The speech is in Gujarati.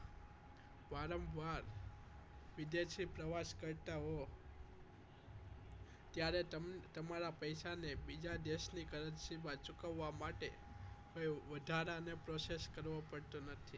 વારંવાર વિદેશી પ્રવાસ કરતા હોવ ત્યારે તમારા પૈસાને બીજા દેશની currency માં ચૂકવવા માટે વધારાના process કરવો પડતો નથી